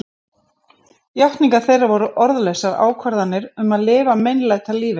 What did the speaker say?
Játningar þeirra voru orðlausar ákvarðanir um að lifa meinlætalífi.